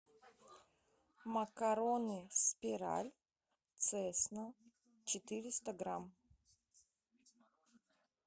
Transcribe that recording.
макароны спираль цесна четыреста грамм